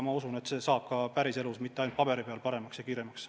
Ma usun, et see toimib ka päriselus, mitte ei lähe asjad ainult paberi peal paremaks ja kiiremaks.